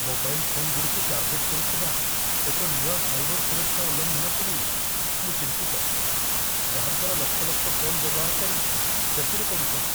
Mobile ଫୋନଗୁଡ଼ିକୁ target କରୁଥିବା ଏକ ନୂଆ ସାଇବର ସୁରକ୍ଷା ଉଲ୍ଲଂଘନକୁ ନେଇ ମୁଁ ଚିନ୍ତିତ, ଯାହା ଦ୍ଵାରା ଲକ୍ଷ ଲକ୍ଷ ଫୋନ୍ ବ୍ୟବହାରକାରୀ କ୍ଷତିରେ ପଡ଼ୁଛନ୍ତି।